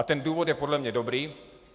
A ten důvod je podle mě dobrý.